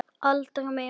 Aldrei meira líf.